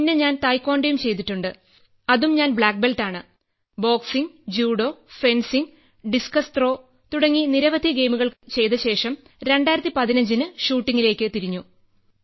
പിന്നെ ഞാൻ തായ്ക്വാൻഡോയും ചെയ്തിട്ടുണ്ട് അതും ഞാൻ ബ്ലാക്ക്ബെൽറ്റാണ് boxing judo fencing discus throw തുടങ്ങി നിരവധി ഗെയിമുകൾ ചെയ്തശേഷം 2015ന് ഷൂട്ടിംഗിലേക്ക് തിരിഞ്ഞു